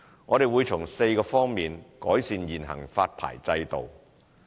我們會從4方面改善現行發牌制度。